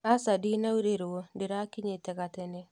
Aca ndinaurĩrwo ndĩrakinyĩte gatene